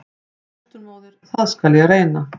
En fósturmóðir- það skal ég reyna.